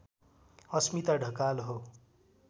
अस्मिता ढकाल हो